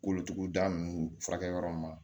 Kolotuguda ninnu furakɛ yɔrɔ min